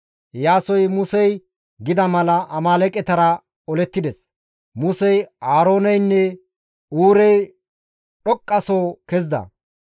Iyaasoy Musey gida mala, Amaaleeqetara olettides. Musey, Aarooneynne Huurey dhoqqaso kezida.